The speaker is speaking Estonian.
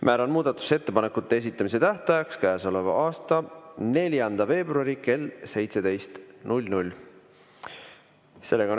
Määran muudatusettepanekute esitamise tähtajaks käesoleva aasta 4. veebruari kell 17.